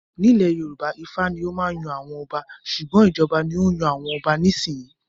Nílé Yorùbá Ifá ni ó máa yan àwọn ọba. Ṣùgbọ́n, ìjọba ni ó ń yan àwọn ọba nísìnyí.